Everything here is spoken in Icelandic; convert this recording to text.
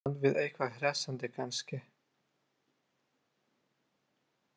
Í bland við eitthvað hressandi kannski?